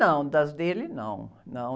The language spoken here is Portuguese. Não, das dele, não, não